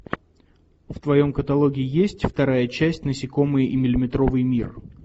в твоем каталоге есть вторая часть насекомые и миллиметровый мир